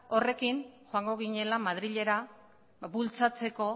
horrekin joango ginela madrilera bultzatzeko